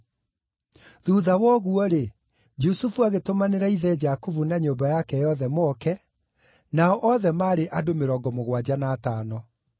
Thuutha wa ũguo-rĩ, Jusufu agĩtũmanĩra ithe Jakubu na nyũmba yake yothe moke, nao othe maarĩ andũ mĩrongo mũgwanja na atano.